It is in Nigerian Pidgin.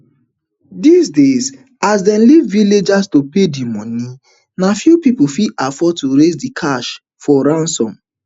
dis days as dem leave villagers to pay di moni na few pipo fit afford to raise di cash for ransoms